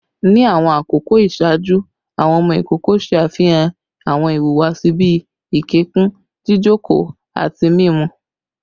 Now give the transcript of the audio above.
Ni awọn akoko iṣaaju, awọn ọmọ ikoko ṣe afihan awọn ihuwasi bii ikẹkun, jijoko, ati mimu